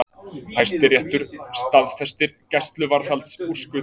Hæstiréttur staðfestir gæsluvarðhaldsúrskurð